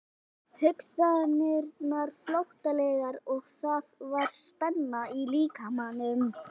Hugsanirnar flóttalegar og það var spenna í líkamanum.